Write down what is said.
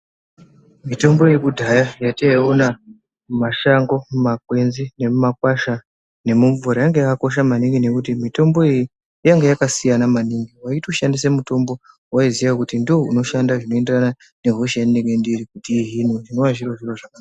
Mitombo yekudhaya yataiona mumashango mumakwenzi nemumakwasha nemumvura yanga yakakosha maningi ngekuti mitombo iyi yanga yakasiyana maningi waitoshandisa mutombo wawaiziva kuti ndiwo unoshanda zvinoenderana nehosha yandinenge ndiri zvinova zviri zviro zvakanaka.